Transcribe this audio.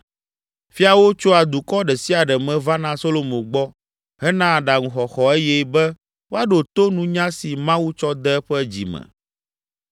Fiawo tsoa dukɔ ɖe sia ɖe me vana Solomo gbɔ hena aɖaŋuxɔxɔ eye be woaɖo to nunya si Mawu tsɔ de eƒe dzi me.